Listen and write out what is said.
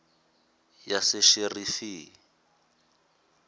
yasesherifi